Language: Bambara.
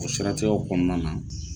O siratigɛw kɔnɔna na.